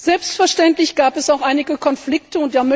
Selbstverständlich gab es auch einige Konflikte